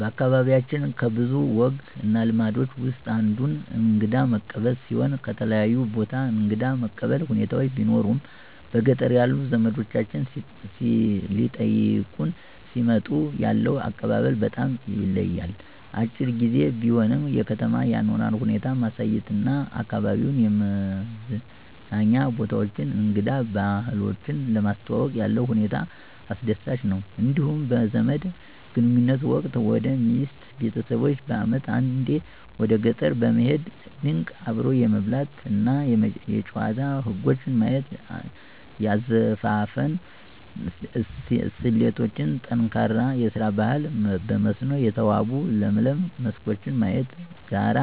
በአካባቢያችን ከብዙ ወግ እና ልማዶች ውስጥ አንዱ እንግዳ መቀበል ሲሆን ከተለያየ ቦታ እንግዳ መቀበል ሁኔታዎች ቢኖሩም በገጠር ያሉ ዘመዶቻችን ሊጠይቁን ሲመጡ ያለው አቀባበል በጣም ይለያል። አጭር ግዜ ቢሆንም የከተማ አኗኗር ሁኔታ ማሳየት እና አካባቢዉን የመዝናኛ ቦታዎችን እንግዳ ባህሎችን ለማስተዋወቅ ያለው ሁኔታ አስደሳች ነው። እንዲሁም በዘመድ ግንኙነት ወቅት ወደ ሚስቴ ቤተሰቦች በአመት አንዴ ወደ ገጠር በመሄድ ድንቅ አብሮ የመብላት እና የጨዋታ ወጎች ማየት; የአዘፋፈን ስልቶች: ጠንካራ የስራ ባህል; በመስኖ የተዋቡ ለምለም መስኮች ማየት; ጋራ